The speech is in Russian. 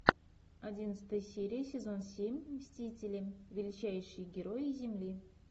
одиннадцатая серия сезон семь мстители величайшие герои земли